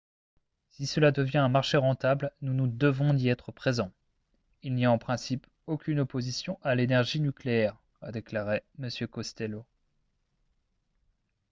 """si cela devient un marché rentable nous nous devons d'y être présent. il n'y a en principe aucune opposition à l’énergie nucléaire" a déclaré m. costello.